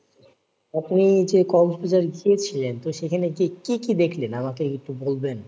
আপনি যে কক্সবাজার গিয়েছিলেন তো সেখানে গিয়ে কি কি দেখলেন আমাকে একটু বলবেন?